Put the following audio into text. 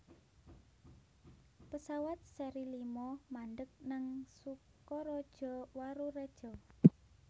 pesawat seri lima mandheg nang Sukaraja Warureja